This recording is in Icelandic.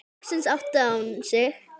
Loksins áttaði hún sig.